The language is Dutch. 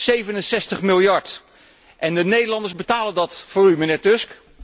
67 Miljard. En de Nederlanders betalen dat voor u, mijnheer Tusk.